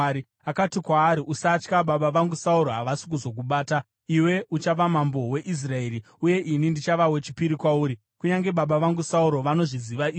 Akati kwaari, “Usatya. Baba vangu Sauro havasi kuzokubata. Iwe uchava mambo weIsraeri, uye ini ndichava wechipiri kwauri. Kunyange baba vangu Sauro vanozviziva izvi.”